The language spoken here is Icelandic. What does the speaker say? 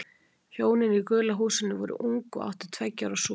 Hjónin í gula húsinu voru ung og áttu tveggja ára son.